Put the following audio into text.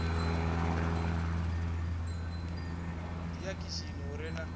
ḓi ya khishini hu re